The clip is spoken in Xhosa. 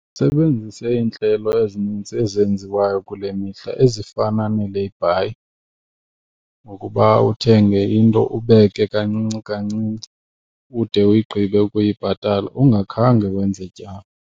Makasebenzise iintlelo ezininzi ezenziwayo kule mihla ezifana nee-layby ngokuba uthenge into ubeke kancinci kancinci ude uyigqibe ukuyibhatala ungakhange wenze tyala.